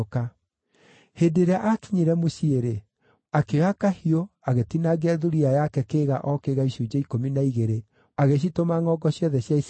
Hĩndĩ ĩrĩa aakinyire mũciĩ-rĩ, akĩoya kahiũ agĩtinangia thuriya yake kĩĩga o kĩĩga icunjĩ ikũmi na igĩrĩ, agĩcitũma ngʼongo ciothe cia Isiraeli,